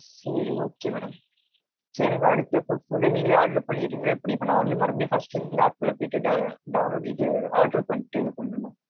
சேரி okay madam. சேரி எனக்கு அடுத்து இப்போ food நீங்களே order பண்ணிர்ரீங்களா எப்பிடி. இப்ப நா வந்து மறுபடியும் first -ல இருந்து இந்த app -ல போய்டு இல்ல download order பண்ணிட்டு இது பன்னனும்?